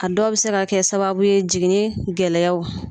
A dɔw bɛ se ka kɛ sababu ye jiginni gɛlɛyaw.